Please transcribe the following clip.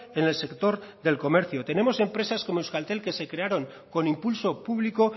en el sector del comercio tenemos empresas como euskaltel que se crearon con impulso público